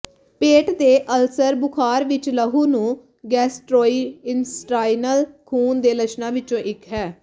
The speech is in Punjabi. ਪੇਟ ਦੇ ਅਲਸਰ ਬੁਖ਼ਾਰ ਵਿੱਚ ਲਹੂ ਨੂੰ ਗੈਸਟਰੋਇੰਟੇਸਟਾਈਨਲ ਖੂਨ ਦੇ ਲੱਛਣਾਂ ਵਿੱਚੋਂ ਇੱਕ ਹੈ